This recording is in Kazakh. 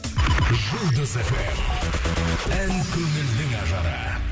жұлдыз фм ән көңілдің ажары